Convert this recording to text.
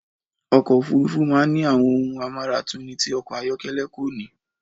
Ọkọ̀ òfúrufú máa ń ní àwọn ohun amáratuni tí ọkọ̀ ayọ̀kẹ́lẹ́ kò ni